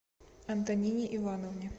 антонине ивановне